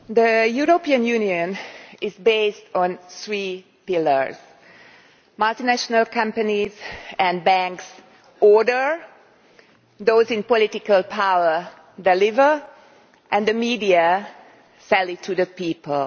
Mr President, the European Union is based on three pillars multinational companies and banks order, those in political power deliver and the media sells it to the people.